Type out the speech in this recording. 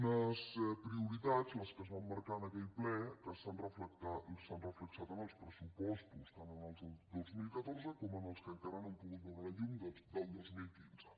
unes prioritats les que es van marcar en aquell ple que s’han reflectit en els pressupostos tant en els del dos mil catorze com en els que encara no han pogut veure la llum del dos mil quinze